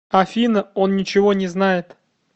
афина он ничего не знает